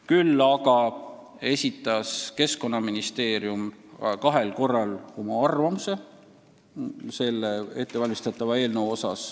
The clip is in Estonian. Küll esitas Keskkonnaministeerium kahel korral oma arvamuse selle ettevalmistatava eelnõu kohta.